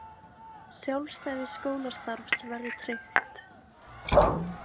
Sjálfstæði skólastarfs verði tryggt